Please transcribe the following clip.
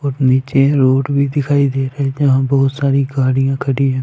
और नीचे रोड भी दिखाई दे रही है जहां बहुत सारी गाड़ियाँ खड़ी हैं ।